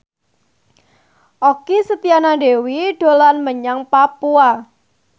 Okky Setiana Dewi dolan menyang Papua